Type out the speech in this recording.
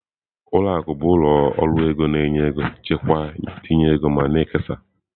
Ụlọ akụ bụ ụlọ ọrụ ego na-enye ego, chekwaa, tinye ego ma na-ekesa.